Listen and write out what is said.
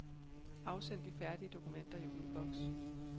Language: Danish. Afsend de færdige dokumenter i udboks.